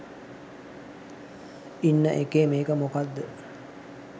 ඉන්න එකේ මේක මොකක්ද?